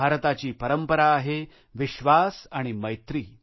भारताची परंपरा आहेविश्वास आणि मैत्री